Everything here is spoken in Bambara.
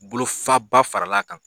Bolo fa ba farala kan.